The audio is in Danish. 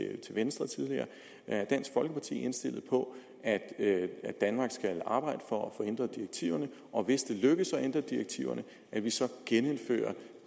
venstre tidligere er dansk folkeparti indstillet på at danmark skal arbejde på at få ændret direktiverne og hvis det lykkes at få ændret direktiverne at vi så gennemfører